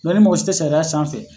ni mɔgɔ si te sariya sanfɛ